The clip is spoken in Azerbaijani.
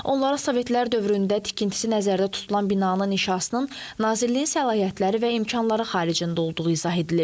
Onlara Sovetlər dövründə tikintisi nəzərdə tutulan binanın inşasının Nazirliyin səlahiyyətləri və imkanları xaricində olduğu izah edilib.